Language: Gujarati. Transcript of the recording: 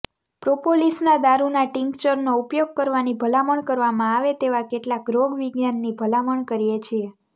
પ્રોપોલિસના દારૂના ટિંકચરનો ઉપયોગ કરવાની ભલામણ કરવામાં આવે તેવા કેટલાક રોગવિજ્ઞાનની ભલામણ કરીએ છીએ